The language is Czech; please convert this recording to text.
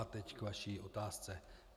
A teď k vaší otázce.